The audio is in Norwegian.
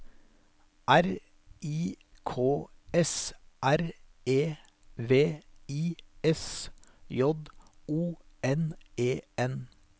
R I K S R E V I S J O N E N